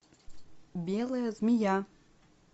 белая змея